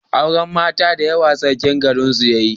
auren mata da yawa sarkin garin su yayi